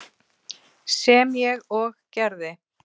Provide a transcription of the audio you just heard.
sem ég og gerði.